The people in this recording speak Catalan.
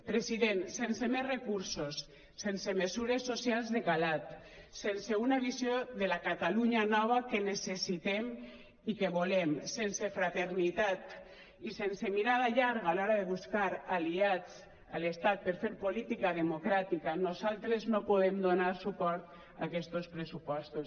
president sense més recursos sense mesures socials de calat sense una visió de la catalunya nova que necessitem i que volem sense fraternitat i sense mirada llarga a l’hora de buscar aliats a l’estat per fer política democràtica nosaltres no podem donar suport a aquestos pressupostos